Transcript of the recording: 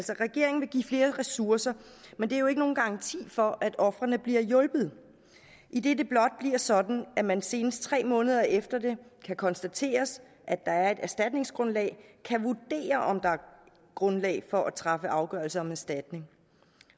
regeringen vil give flere ressourcer men det er jo ikke nogen garanti for at ofrene bliver hjulpet idet det blot bliver sådan at man senest tre måneder efter det kan konstateres at der er et erstatningsgrundlag kan vurdere om der er grundlag for at træffe afgørelse om erstatning